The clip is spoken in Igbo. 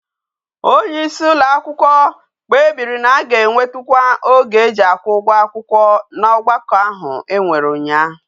Onye isi ụlọ akwụkwọ kpebiri na aga enyetukwa oge eji akwu ugwo akwukwo na ogbako ahu enwere unya